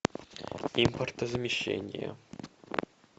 импортозамещение